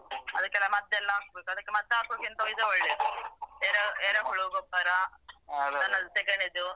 ಅದಕ್ಕೆಲ್ಲಾ ಮದ್ದೆಲ್ಲ ಹಾಕ್ಬೇಕು ಅದಕ್ಕೆ ಮದ್ದ್ ಹಾಕುದಕಿಂತ ಇದು ಒಳ್ಳೆದು ಎರೆಹುಳ ಗೊಬ್ಬರ ದನದ ಸೆಗಣಿದು.